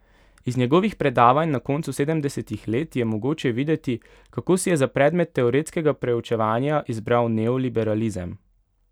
Iz njegovih predavanj na koncu sedemdesetih let je mogoče videti, kako si je za predmet teoretskega proučevanja izbral neoliberalizem.